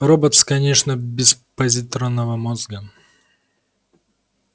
роботс конечно без позитронного мозга